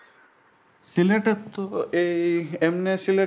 সিলেটেতো এই এমনি সিলেট গেলে